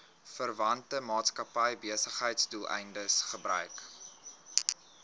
verwante maatskappybesigheidsdoeleindes gebruik